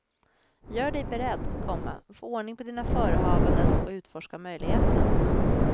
Gör dig beredd, komma få ordning på dina förehavanden och utforska möjligheterna. punkt